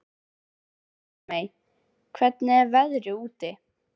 Eldmey, hvernig er veðrið úti?